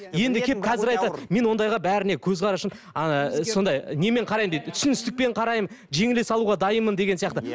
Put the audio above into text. енді келіп қазір айтады мен ондайға бәріне көзқарасым сондай немен қараймын дейді түсіністікпен қараймын жеңіле салуға дайынмын деген сияқты